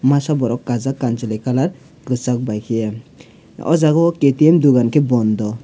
masa borok kajak kansaloi colour kesak bai keye o jaga o ktm dogan ke bondho.